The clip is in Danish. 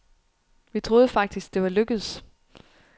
Vi troede faktisk, det var lykkedes.